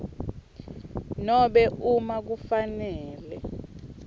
nobe uma kufanele